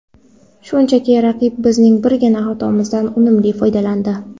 Shunchaki raqib bizning birgina xatoimizdan unumli foydalandi.